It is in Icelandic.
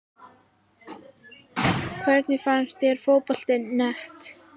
Hvernig finnst þér Fótbolti.net?